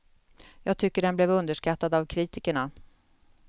Jag tycker den blev underskattad av kritikerna.